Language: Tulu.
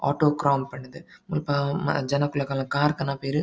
ಆಟೋ ಕ್ರೌನ್ ಪಂಡುದು ಮುಲ್ಪ ಮ ಜನಕುಲು ಅಕಲ್ನ ಕಾರ್ ಕನಪೆರ್.